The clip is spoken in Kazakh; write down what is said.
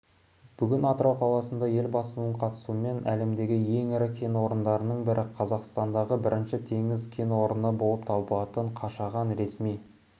бүгін атырау қаласында елбасының қатысуымен әлемдегі ең ірі кен орындарының бірі және қазақстандағы бірінші теңіз кен орны болып табылатын қашаған ресми